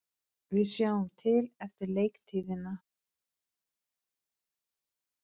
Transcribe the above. Við sjáum til eftir leiktíðina,